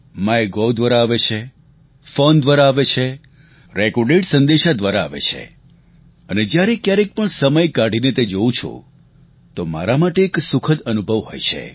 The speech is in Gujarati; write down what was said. માયગોવ દ્વારા આવે છે ફોન દ્વારા આવે છે રેકોર્ડેડ સંદેશા દ્વારા આવે છે અને જ્યારે ક્યારેક પણ સમય કાઢીને તે જોઉં છું તો મારા માટે એક સુખદ અનુભવ હોય છે